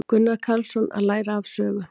Gunnar Karlsson: Að læra af sögu.